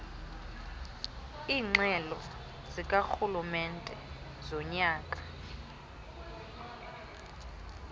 iingxelo zikarhulumente zonyaka